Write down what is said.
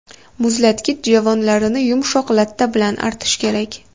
Muzlatgich javonlarini yumshoq latta bilan artish kerak.